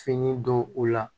Fini don o la